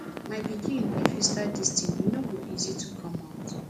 my pikin if you start dis thing e no go easy to come out